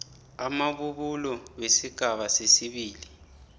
amabubulo wesigaba sesibili